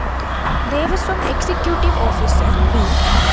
Devaswom executive officer B